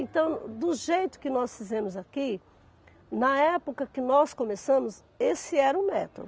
Então, do jeito que nós fizemos aqui, na época que nós começamos, esse era o método.